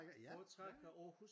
Foretrækker Aarhus